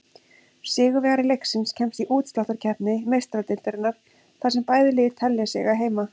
Sigurvegari leiksins kemst í útsláttarkeppni Meistaradeildarinnar, þar sem bæði lið telja sig eiga heima.